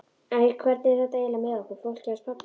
Æ, hvernig er þetta eiginlega með okkur fólkið hans pabba?